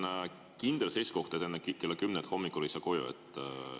Kas see on kindel seisukoht, et enne kella 10 hommikul ei saa koju?